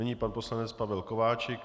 Nyní pan poslanec Pavel Kováčik.